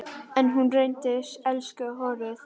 En hún reyndi, elsku hróið.